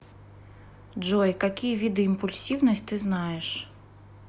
джой какие виды импульсивность ты знаешь